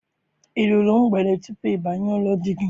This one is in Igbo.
I ruru mgbede tupu ị banye n'ụlọ di gị?